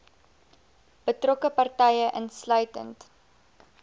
betrokke partye insluitend